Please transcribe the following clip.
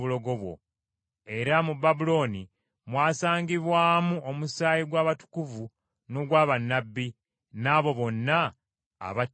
Era mu Babulooni mwasangibwamu omusaayi gw’abatukuvu n’ogwa bannabbi, n’abo bonna abattibwa ku nsi.”